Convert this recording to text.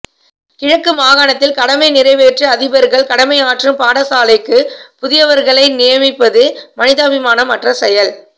கிழக்கு மாகாணத்தில் கடமை நிறைவேற்று அதிபர்கள் கடமையாற்றும் பாடசாலைக்கு புதியவர்களை நியமிப்பது மனிதாபிமானம் அற்ற செயல்